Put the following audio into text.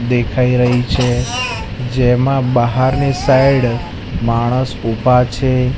દેખાય રહી છે જેમાં બાહારની સાઈડ માણસ ઉભા છે.